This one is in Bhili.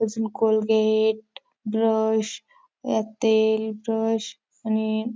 अजुन कोलगेट ब्रश तेल ब्रश आणि--